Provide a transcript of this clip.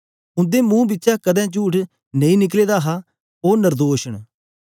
उंदे मुंह बिचा कदें चुठ नेई निकले दा हा ओ नर्दोश न